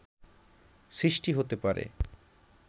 সৃষ্টি হতে পারে